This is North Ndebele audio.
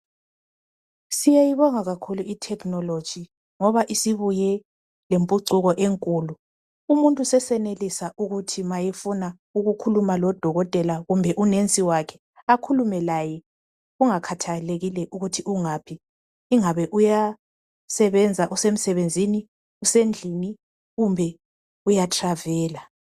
Siyayibonga kakhulu i technology, ngoba isibuye lempucuko enkulu, umuntu sesenelisa ukuthi ma efuna ukukhuluma lodokotela kumbe unensi wakhe, akhulume laye kungakhathalekile ukuthi ungaphi, ingabe uya sebenza usemsebenzini, usendlini kumbe uyatravela.